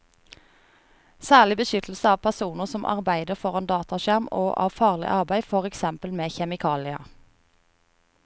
Særlig beskyttelse av personer som arbeider foran dataskjerm og av farlig arbeid, for eksempel med kjemikalier.